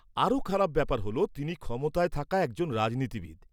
আরও খারাপ ব্যাপার হ'ল তিনি ক্ষমতায় থাকা একজন রাজনীতিবিদ।